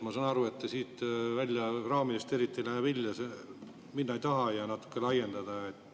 Ma saan aru, et te ei taha selle eelnõu raamidest eriti välja minna ja natuke laiendada.